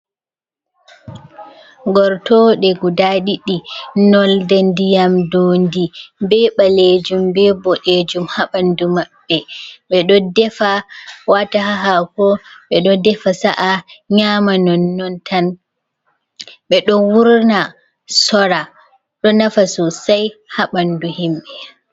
Gortoɗe guda ɗiɗi nolde ndiyam dondi be ɓalejum, be boɗejum, ha ɓanɗu maɓɓe, ɓe ɗo defa wata ha hako ɓe ɗo defa sa'a nyama nonnon tan, ɓe ɗo wurna sora ɗo nafa sosai ha ɓanɗu himɓɓe.